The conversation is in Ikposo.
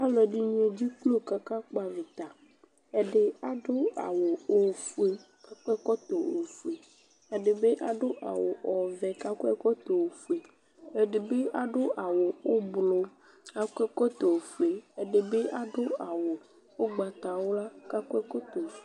Alʋɛdɩnɩ edziklo kʋ akakpɔ avɩta Ɛdɩ adʋ awʋ ofue kʋ akɔ ɛkɔtɔ ofue Ɛdɩ adʋ awʋ ɔvɛ kʋ akɔ ɛkɔtɔ ofue Ɛdɩ bɩ adʋ awʋ ʋblʋ kʋ akɔ ɛkɔtɔ ofue Ɛdɩ bɩ adʋ awʋ ʋgbatawla kʋ akɔ ɛkɔtɔ ofue